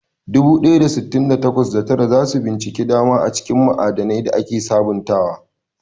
Dubu ɗaya da sittin da takwas, da tara za su bincika dama a cikin ma'adanai da ake sabantawa.